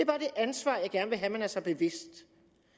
ansvar jeg gerne vil have at man er sig bevidst